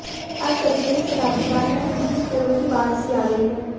अब करीब एक शताब्दी बाद यहां निजी स्कूलों की बाढ़ सी आ गई है